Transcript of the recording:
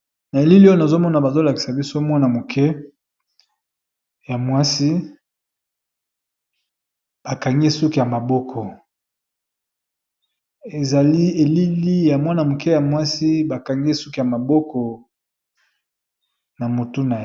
na elili oyono azomona bazolakisa biso mwana moke ya mwasi bakangie suki ya maboko ezali elili ya mwana moke ya mwasi bakangie suki ya mabokona .